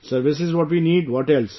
Service is what we need... what else